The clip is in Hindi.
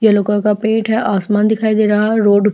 यल्लो कलर का पेंट है और आसमान दिखाई दे रहा है रोड --